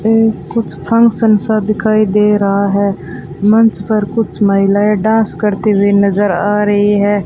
ये कुछ फंक्शन सा दिखाई दे रहा है मंच पर कुछ महिलाएं डांस करते हुए नजर आ रही है।